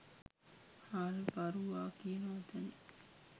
හාල් පාරුවා කියන වචනෙ